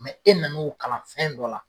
e nan'o kalan fɛn dɔ la